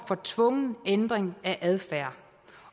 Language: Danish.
for tvungen ændring af adfærd